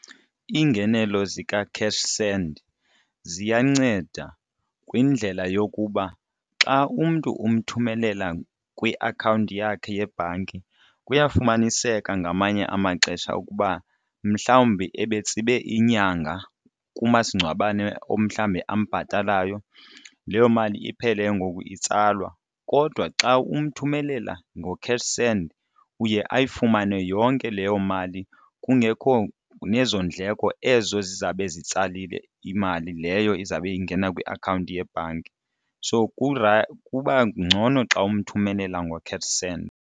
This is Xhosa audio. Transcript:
Lingenelo zikaCashSend ziyanceda kwindlela yokuba xa umntu umthumelela kwiakhawunti yakhe yebhanki kuyafumaniseka ngamanye amaxesha ukuba mhlawumbi ebetsibe inyanga kumasingcwabane umhlawumbi ambhatalayo, leyo mali iphele ke ngoku itsalwa. Kodwa xa umthumelela ngoCashSend uye ayifumane yonke leyo mali kungekho nezo ndleko ezo zizabe zitsalile imali leyo izawube ingena kwiakhawunti yebhanki. So kuba ngcono xa umthumelela ngoCashSend.